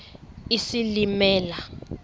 isilimela